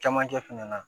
Camancɛ fɛnɛ na